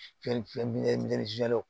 Fɛn fɛn bi